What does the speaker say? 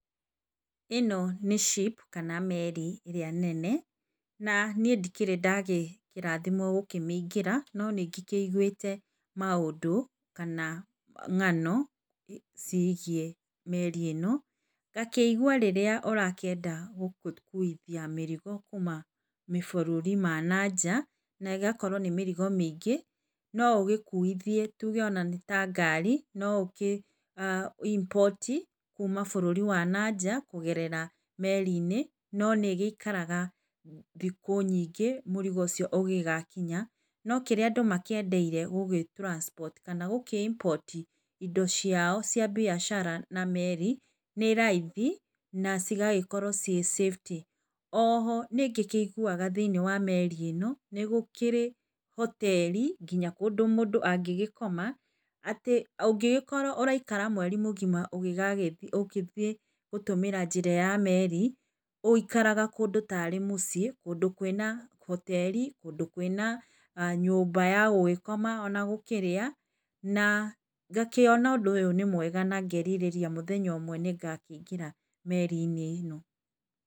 Ĩno nĩ ship kana meri ĩrĩa nene, na niĩ ndĩkĩrĩ ndarathimwo kũmĩingira, nonĩngĩkĩigwĩte maũndũ kana ng'ano cigiĩ meri ĩno. Ngakĩigua rĩrĩa ũrakĩenda gũgĩkuithia mĩrigo kuma mabũrũri ma na nja, na ĩgakoro nĩ mĩrigo mĩingĩ no ũgĩkuithiĩ tuge nĩ ta ngari no ũkĩ import kuma na bũrũri wa na nja kũgerera meri-inĩ, no nĩgĩikaraga thikũ nyingĩ mũrigo ũcio ũgĩgakinya, no kĩrĩa andũ makĩendeire gũgĩ transport kana gũkĩ import indo ciao cia mbiacara na meri nĩ raithi na cigagĩkorwo ciĩ safety. O ho nĩngĩiguaga thĩiniĩ wa meri ĩno, nĩgũkĩrĩ hoteri ũndũ mũndũ nginya angĩgĩkoma atĩ ũngĩgĩkorwo ũraikara mweri mũgima ũgĩthiĩ gũtũmĩra njĩra ya meri, ũikaraga kũndũ tarĩ mũciĩ kũndũ kwĩ na hoteri, kũndũ kwĩna nyũmba ya gũgĩkoma ona gũkĩrĩa, na ngakĩona ũndũ ũyũ nĩ mwega na ngerirĩria mũthenya ũmwe nĩ ngaikĩingĩra meri-inĩ ĩno.